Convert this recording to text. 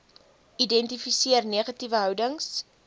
identifiseer negatiewe houdings